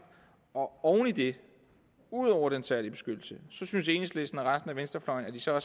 og oven i det ud over den særlige beskyttelse synes enhedslisten og resten af venstrefløjen at de så